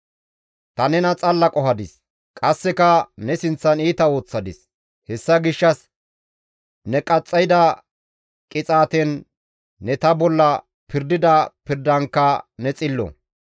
Ta nena xalla qohadis; qasseka ne sinththan iita ooththadis. Hessa gishshas ne qaxxayda qixaaten, ne ta bolla pirdida pirdankka ne xillo